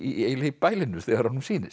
eiginlega í bælinu þegar honum sýnist